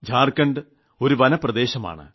ജാർഖണ്ഡ് ഒരു വനപ്രദേശമാണ്